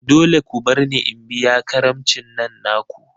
Dole ne ku barni in biya karamicin nan naku!